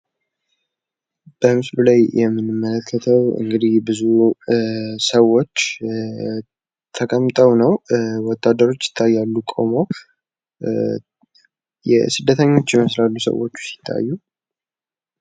በምስሉ ላይ ብዙ ሰወች ተቀምተው እና ወታደሮች ቆመው የሚታይ ሲሆን የተቀመጡት ሰወች ስደተኞች ይመስላሉ።